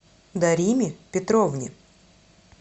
дариме петровне